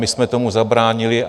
My jsme tomu zabránili.